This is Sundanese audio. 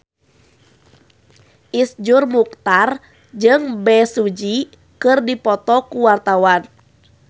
Iszur Muchtar jeung Bae Su Ji keur dipoto ku wartawan